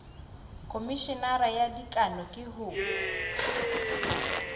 khomeshenara wa dikano ke ho